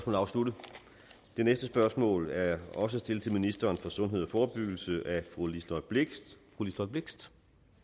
er afsluttet det næste spørgsmål er også stillet til ministeren for sundhed og forebyggelse af fru liselott blixt blixt